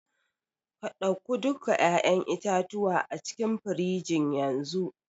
ka dauku duka 'ya'yan itatuwa acikin firigin yanzu.